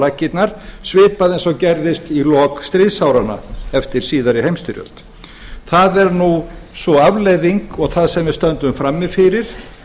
laggirnar svipað eins og gerðist í lok stríðsáranna eftir síðari heimsstyrjöld það er sú afleiðing og það sem við stöndum frammi fyrir